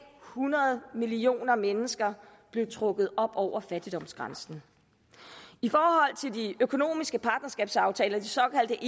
hundrede millioner mennesker blev trukket op over fattigdomsgrænsen i forhold til de økonomiske partnerskabsaftaler de såkaldte